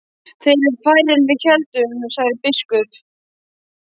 Þeir eru færri en við héldum, sagði biskup.